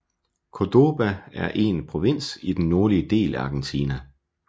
Córdoba er er en provins i den nordlige del af Argentina